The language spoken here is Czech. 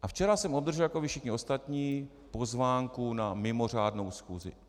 A včera jsem obdržel jako vy všichni ostatní pozvánku na mimořádnou schůzi.